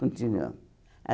Continuamos.